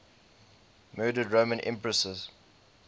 murdered roman empresses